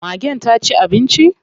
Magen ta ci abinci?